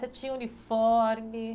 Você tinha uniforme?